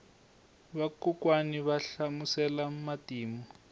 vakokwani va hlamusela matimu